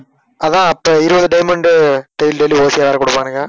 அதான் அப்ப இருவது payment உ daily dailyOT வேற கொடுப்பாங்க